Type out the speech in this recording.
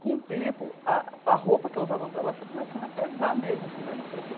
Com o tempo, a a roupa que eu usava no trabalho foi começando a pesar mesmo assim para mim sabe.